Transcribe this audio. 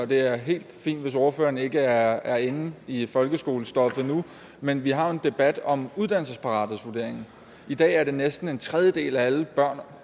det er helt fint hvis ordføreren ikke er inde i folkeskolestoffet endnu men vi har jo en debat om uddannelsesparathedsvurderingen i dag er det næsten en tredjedel af alle børn